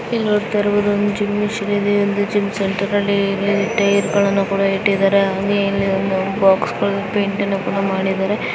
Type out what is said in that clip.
ಇಲ್ಲಿ ನೋಡತ್ತಾ ಇರಬಹುದು ಒಂದು ಜಿಮ್ ಮಿಷಿನ್ ಇದೆ.